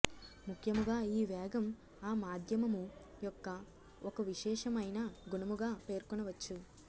ముఖ్యముగా ఈ వేగం ఆ మాధ్యమము యొక్క ఒక విశేషమయిన గుణముగా పేర్కొనవచ్చు